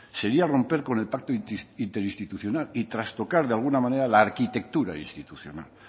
sería romper con el pacto interinstitucional y trastocar de alguna manera la arquitectura institucional